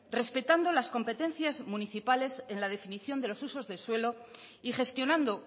respetando las competencias municipales en la definición de los usos de suelo y gestionando